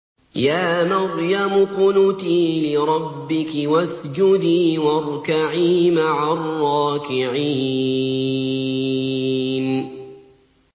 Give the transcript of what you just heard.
يَا مَرْيَمُ اقْنُتِي لِرَبِّكِ وَاسْجُدِي وَارْكَعِي مَعَ الرَّاكِعِينَ